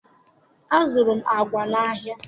azụrụ m agwa n'ahịa.